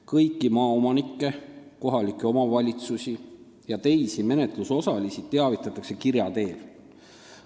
Kõiki maaomanikke, kohalikke omavalitsusi ja teisi menetlusosalisi teavitatakse kirja teel.